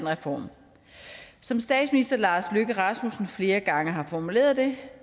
reform som statsminister lars løkke rasmussen flere gange har formuleret det